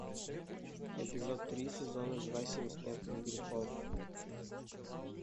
эпизод три сезона два семь смертных грехов